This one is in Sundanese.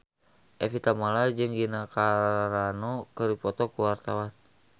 Evie Tamala jeung Gina Carano keur dipoto ku wartawan